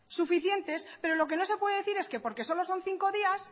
suficientes pero lo que no se puede decir es que porque solo son cinco días